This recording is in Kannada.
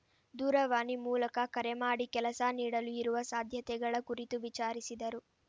ದೂರವಾಣಿ ಮೂಲಕ ಕರೆ ಮಾಡಿ ಕೆಲಸ ನೀಡಲು ಇರುವ ಸಾಧ್ಯತೆಗಳ ಕುರಿತು ವಿಚಾರಿಸಿದರು